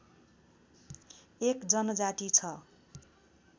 एक जनजाति छ